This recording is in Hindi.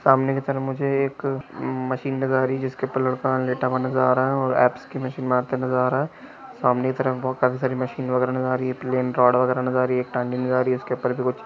सामने की तरफ मुझे एक मशीन नजर आ रहा है जिसके ऊपर एक लड़का लेटा हुआ हैनजर आ रहा है एप्स की मशीन मारते हुए नजर आ रहा है सामने की तरफ बहुत सारे मशीन नजर आ रही है प्लान रोड वगैरा नजर आ रही है उसके ऊपर कुछ--